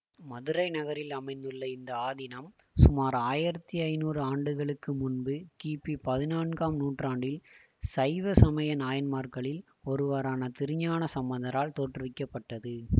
மதுரை நகரில் அமைந்துள்ள இந்த ஆதீனம் சுமார் ஆயிரத்தி ஐநூறு ஆண்டுகளுக்கு முன்பு கிபி பதினான்காம் நூற்றாண்டில் சைவசமய நாயன்மார்களில் ஒருவரான திருஞானசம்பந்தரால் தோற்றுவிக்க பட்டது